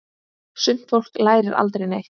Sumt fólk lærir aldrei neitt.